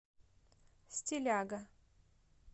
стиляга